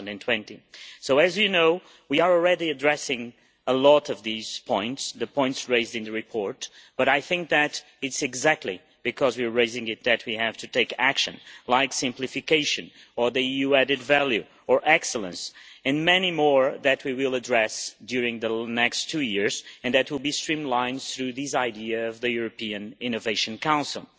2020. So as you know, we are already addressing a lot of these points, the points raised in the report, but I think that it is exactly because we are raising these that we have to take action, like simplification, or EU added value, or excellence and many more that we will address during the next two years and that will be streamlined through this idea of the European Innovation Council.